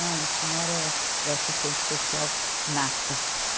Não, a senhora é, é assistente social nata.